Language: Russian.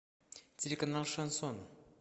телеканал шансон